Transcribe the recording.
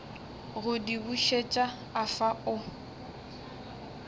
go di bušet afa o